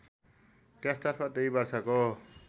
त्यसतर्फ २ वर्षको